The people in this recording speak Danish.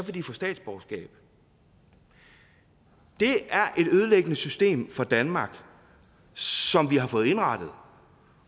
få statsborgerskab det er et ødelæggende system for danmark som vi har fået indrettet